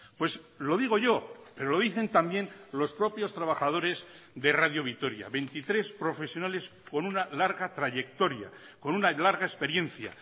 pues lo digo yo pero lo dicen también los propios trabajadores de radio vitoria veintitrés profesionales con una larga trayectoria con una larga experiencia